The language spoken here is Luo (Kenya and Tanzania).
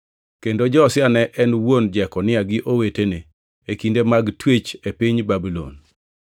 kendo Josia ne en wuon Jekonia gi owetene, e kinde mag twech e piny Babulon.